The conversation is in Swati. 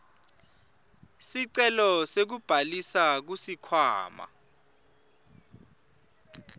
sicelo sekubhalisa kusikhwama